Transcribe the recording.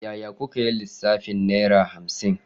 Yaya kuka yi lissafin Naira hamsin?